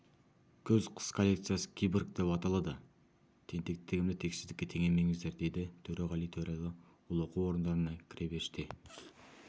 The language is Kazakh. күз-қыс коллекциясы киборг деп аталады тентектігімді тексіздікке теңемеңіздер деді төреғали төреәлі ол оқу орындарына кіре берісте